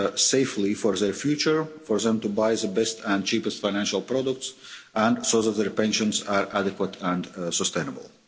to save safely for their future, for them to buy the best and cheapest financial products and so that their pensions are adequate and sustainable.